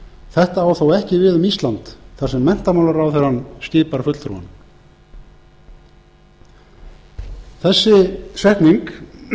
þetta á þó ekki við um ísland þar sem menntamálaráðherrann skipar fulltrúann þessi setning